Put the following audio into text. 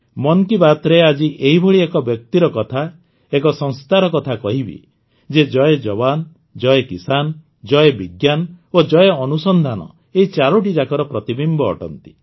ମନ୍ କି ବାତ୍ରେ ଆଜି ଏହିଭଳି ଏକ ବ୍ୟକ୍ତିର କଥା ଏକ ସଂସ୍ଥାର କଥା କହିବି ଯିଏ ଜୟ ଜୱାନ୍ ଜୟ କିଷାନ୍ ଜୟ ବିଜ୍ଞାନ ଓ ଜୟ ଅନୁସନ୍ଧାନ ଏହି ଚାରୋଟି ଯାକର ପ୍ରତିବିମ୍ବ ଅଟନ୍ତି